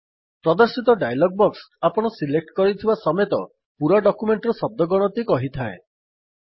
ପ୍ରଦର୍ଶିତ dialog box ଆପଣ select କରିଥିବା ସମେତ ପୂରା ଡକ୍ୟୁମେଣ୍ଟ୍ ର ଶଦ୍ଦ ଗଣତି କହିଥାଏ